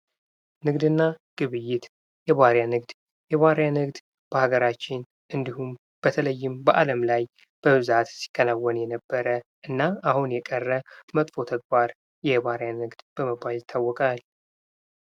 ንግድና ግብይት የባሪያ ንግድ በሀገራችን እንዲሁም በተለይም በአለም ላይ በብዛት ሲከወን የነበረ እና አሁን የቀረ መጥፎ ተግባር የባሪያ ንግድ በመባል ይታወቃል።